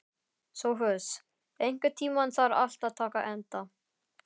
Sophus, einhvern tímann þarf allt að taka enda.